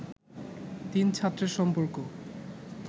তিন ছাত্রের সম্পর্ক